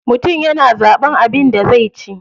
Mutum yana zaɓan abin da zai ci.